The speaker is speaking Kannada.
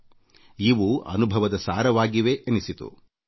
ಇವು ಬದುಕಿನ ಕಾಲಘಟ್ಟದ ಅನುಭವದ ಸಾರವಾಗಿವೆ ಎನಿಸಿತು